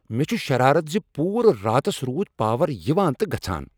مےٚ چھےٚ شرارت ز پوٗرٕ راتس رود پاور یوان تہٕ گژھان۔